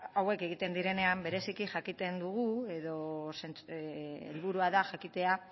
hauek egiten direnean bereziki jakiten dugu edo helburua da jakitea